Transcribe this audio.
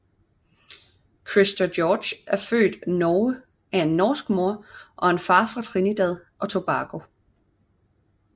Christer George er født Norge af en norsk mor og en far fra Trinidad og Tobago